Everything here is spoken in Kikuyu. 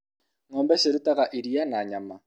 ngombe cirutaga iria na nyama